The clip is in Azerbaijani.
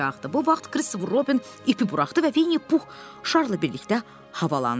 Bu vaxt Christopher Robin ipi buraxdı və Vinni Pux şarla birlikdə havalandı.